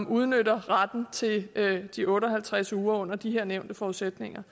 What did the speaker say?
udnytter retten til de otte og halvtreds uger under de her nævnte forudsætninger